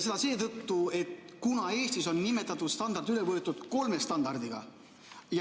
Seda seetõttu, et Eestis on nimetatud standard üle võetud kolme standardiga.